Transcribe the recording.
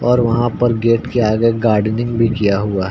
और वहाँ पर गेट के आगे गार्डनिंग भी किया हुआ है।